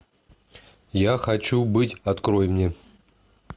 я хочу быть открой мне